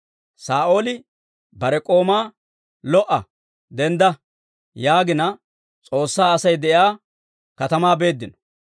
Saa'ooli bare k'oomaa, «Lo"a; dendda» yaagina, S'oossaa Asay de'iyaa katamaa beeddino.